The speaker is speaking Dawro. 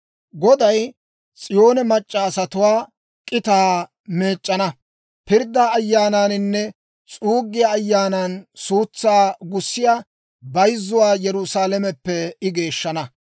Goday S'iyoone mac'c'a asatuwaa k'itaa meec'c'ana; pirddaa Ayaanaaninne s'uuggiyaa Ayaanan suutsaa gussiyaa bayzzuwaa Yerusaalameppe I geeshshana.